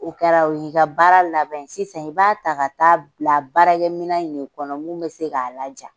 O kɛra o y'i ka baara laban sye i b'a ta ka taa bila baarakɛmina in de kɔnɔ mun bɛ se k'a laja.